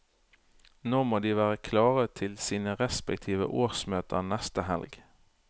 Nå må de være klare til sine respektive årsmøter neste helg.